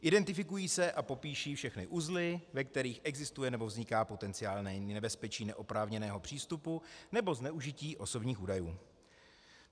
Identifikují se a popíší všechny uzly, ve kterých existuje nebo vzniká potenciálně nebezpečí neoprávněného přístupu nebo zneužití osobních údajů.